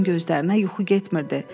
Oğuzun gözlərinə yuxu getmirdi.